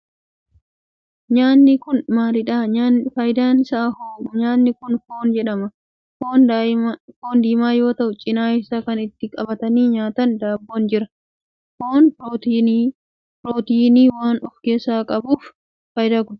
Nyaatni kun maalidha? faayidaan isaa hoo? Nyaatni kun foon jedhama. Foon diimaa yoo ta'u cinaa isaa kan ittiin qabatanii nyaatan daabboon jira. Foon pirootinii waan of keessaa qabuf qaama namaa ijaaruu keessatti gahee qaba.